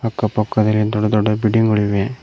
ಅಕ್ಕ ಪಕ್ಕದಲ್ಲಿ ದೊಡ್ಡ ದೊಡ್ಡ ಬಿಲ್ಡಿಂಗ್ ಗಳಿವೆ.